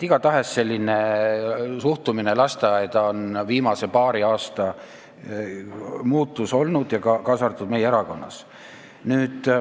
Selline suhtumine lasteaeda on viimase paari aasta muutus olnud, kaasa arvatud meie erakonnas.